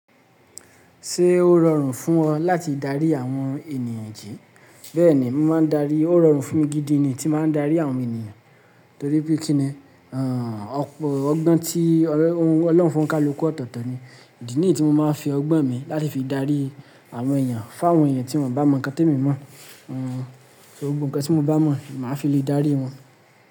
Ṣé ó rọrùn fún ọ láti darí àwọn ènìyàn jí? Bẹ́ẹ̀ni, mo máa ń darí. Ó rọrùn fún mi gidi ni tí màá ń darí àwọn ènìyàn. Torí pé kí ni? Ọgbọ́n tí Ọlọ́run fún kálukú ọtọ̀tọ̀ ni. Ìdí nìyí tí mo máa ń fi ọgbọ́n mi láti fi darí àwọn èèyàn. F'àwọn èèyàn tí wọ́n bá mọ nǹkan tí mi mọ̀. Gbogbo ǹkan tí mo bá mọ̀, màá fi lè dárí wọn.